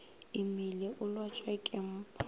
imile o lwatšwa ke mpa